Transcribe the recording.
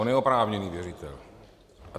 On je oprávněný věřitel.